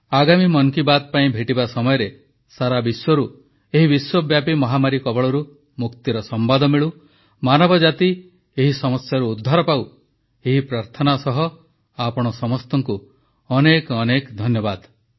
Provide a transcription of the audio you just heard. ଆଗାମୀ ମନ କି ବାତ୍ ପାଇଁ ଭେଟିବା ସମୟରେ ସାରା ବିଶ୍ୱରୁ ଏହି ବିଶ୍ୱବ୍ୟାପୀ ମହାମାରୀ କବଳରୁ ମୁକ୍ତିର ସମ୍ବାଦ ମିଳୁ ମାନବଜାତି ଏହି ସମସ୍ୟାରୁ ଉଦ୍ଧାର ପାଉ ଏହି ପ୍ରାର୍ଥନା ସହ ଆପଣ ସମସ୍ତଙ୍କୁ ଅନେକ ଅନେକ ଧନ୍ୟବାଦ